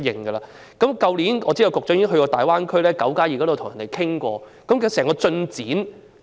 我知道去年局長曾到訪大灣區討論"九加二"的問題，究竟進展如何？